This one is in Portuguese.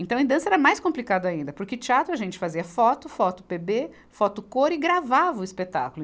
Então em dança era mais complicado ainda, porque teatro a gente fazia foto, foto Pêbê, foto cor e gravava o espetáculo.